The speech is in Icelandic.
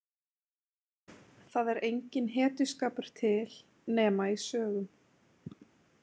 Það er enginn hetjuskapur til nema í sögum.